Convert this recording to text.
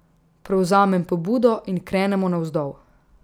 Prevzamem pobudo in krenemo navzdol.